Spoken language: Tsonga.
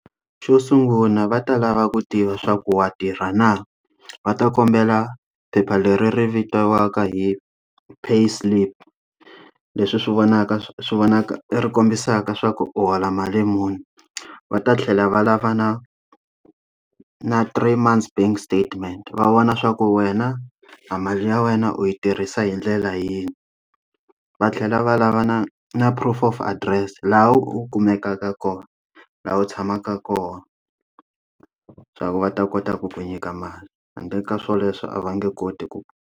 Xo sungula va ta lava ku tiva swa ku wa tirha na? Va ta kombela phepha leri ri vitiwaka hi pay slip. Leswi swi vonaka swi vonaka i ri kombisaka swa ku u hola mali muni. Va ta tlhela va lava na na three months bank statement va vona leswaku wena, a mali ya wena u yi tirhisa hi ndlela yini. Va tlhela va lava na na proof of adirese laha u kumekaka kona, laha u tshamaka kona, swa ku va ta kota ku ku nyika mali handle ka swoleswo a va nge koti ku.